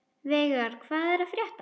Veigar, hvað er að frétta?